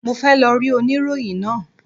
Mo fẹ́ lọ rí oníròyìn náà.